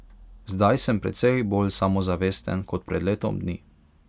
Zdaj sem precej bolj samozavesten kot pred letom dni.